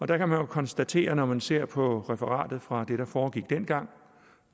der kan man jo konstatere når man ser på referatet fra det der foregik dengang